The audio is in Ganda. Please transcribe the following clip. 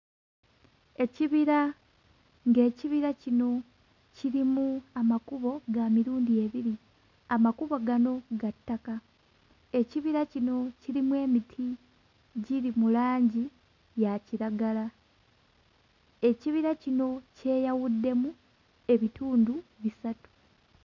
Ekibira ng'ekibira kino kirimu amakubo ga mirundi ebiri, amakubo gano ga ttaka. Ekibira kino kirimu emiti giri mu langi ya kiragala. Ekibira kino kyeyawuddemu ebitundu bisatu.